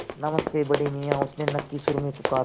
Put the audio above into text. नमस्ते बड़े मियाँ उसने नक्की सुर में पुकारा